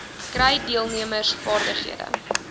kry deelnemers vaardighede